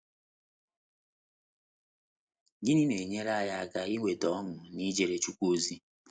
Gịnị na - enyere anyị aka inweta ọṅụ n’ijere Chukwu ozi?